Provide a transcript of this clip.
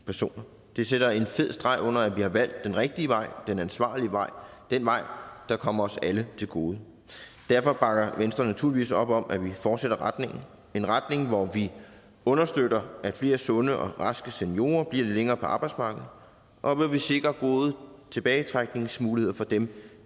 personer det sætter en fed streg under at vi har valgt den rigtige vej den ansvarlige vej den vej der kommer os alle til gode og derfor bakker venstre naturligvis op om at vi fortsætter retning en retning hvor vi understøtter at flere sunde og raske seniorer bliver længere på arbejdsmarkedet og hvor vi sikrer gode tilbagetrækningsmuligheder for dem